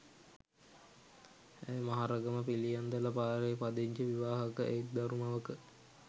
ඇය මහරගම පිළියන්දල පාරේ පදිංචි විවාහක එක් දරු මවක